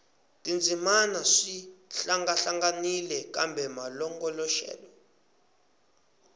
tindzimana swi hlangahlanganile kambe malongoloxelo